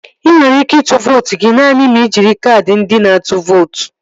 Ị nwere ike ịtụ vootu gị naanị ma ị jiri kaadị ndị na-atụ vootu